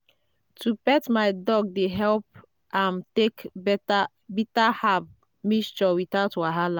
to pet my dog dey help am take better bitter herb mixture without wahala.